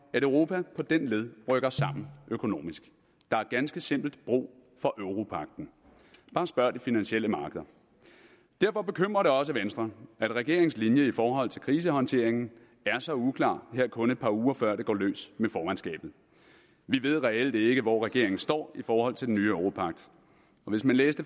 europa på den led rykker sammen økonomisk der er ganske simpelt brug for europagten bare spørg de finansielle markeder derfor bekymrer det også venstre at regeringens linje i forhold til krisehåndteringen er så uklar her kun et par uger før det går løs med formandskabet vi ved reelt ikke hvor regeringen står i forhold til den nye europagt og hvis man læste